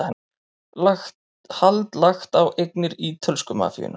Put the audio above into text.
Hald lagt á eignir ítölsku mafíunnar